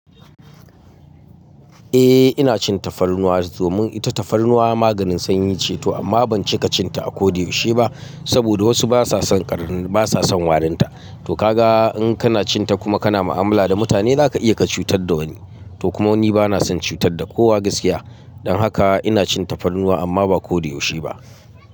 Eh ina cin tafarnuwa domin ita tafarnuwa maganin sanyi ce to amma ban cika cin ta a ko da yaushe ba saboda wasu basa son ƙar, basa son warinta. To kaga in kana cin ta kuma kana mu'amala da mutane zaka iya ka cutar da wani. To kuma ni bana son cutar da kowa gaskiya. Don haka ina cin tafarnuwa amma ba ko dai yaushe ba.